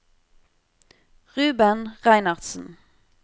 Ruben Reinertsen